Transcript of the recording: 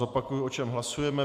Zopakuji, o čem hlasujeme.